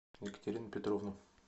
екатерину петровну